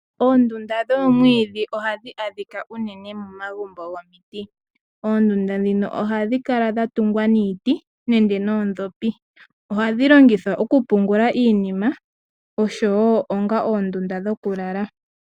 Oondunda dhoomwiidhi ohadhi adhika unene momagumbo gomiti. Oondunda ndhika ohadhi kala dha tungwa niiti nenge noondhopi. Ohadhi longithwa okupungula iinima noshowo onga oondunda dhokulala.